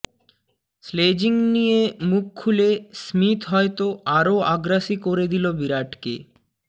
sledging নিয়ে মুখ খুলে স্মিথ হয়তো আরও আগ্রাসী করে দিল বিরাটকে